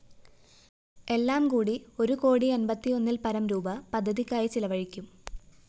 എല്ലാംകൂടി ഒരു കോടി അന്‍പത്തിയൊന്നില്‍പരം രൂപീ പദ്ധതിക്കായി ചിലവഴിക്കും